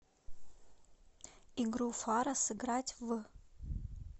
игру фара сыграть в